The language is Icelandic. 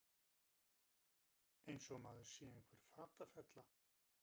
Eins og maður sé einhver fatafella!